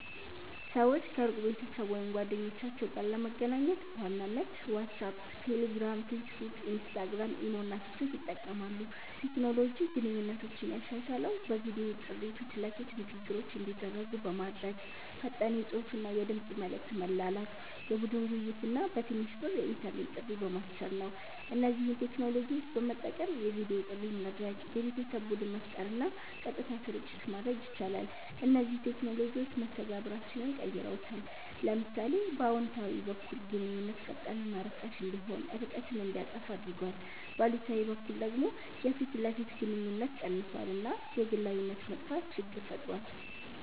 ሰዎች ከሩቅ ቤተሰብ ወይም ጓደኞቻቸው ጋር ለመገናኘት በዋናነት ዋትሳፕ፣ ቴሌግራም፣ ፌስቡክ፣ ኢንስታግራም፣ ኢሞ እና ቲክቶክ ይጠቀማሉ። ቴክኖሎጂ ግንኙነቶችን ያሻሻለው በቪዲዮ ጥሪ ፊት ለፊት ንግግሮች እንዲደረጉ በማድረግ፣ ፈጣን የጽሁፍና የድምጽ መልዕክት መላላክ፣ የቡድን ውይይት እና በትንሽ ብር የኢንተርኔት ጥሪ በማስቻል ነው። እነዚህን ቴክኖሎጂዎች በመጠቀም የቪዲዮ ጥሪ ማድረግ፣ የቤተሰብ ቡድን መፍጠር እና ቀጥታ ስርጭት ማድረግ ይቻላል። እነዚህ ቴክኖሎጂዎች መስተጋብራችንን ቀይረውታል። ለምሳሌ በአዎንታዊ በኩል ግንኙነት ፈጣንና ርካሽ እንዲሆን፣ ርቀትን እንዲያጠፋ አድርጓል፤ በአሉታዊ በኩል ደግሞ የፊት ለፊት ግንኙነት ቀንሷል እና የግላዊነት መጥፋት ችግር ፈጥሯል።